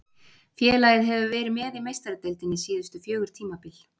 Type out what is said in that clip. Félagið hefur verið með í Meistaradeildinni síðustu fjögur tímabil.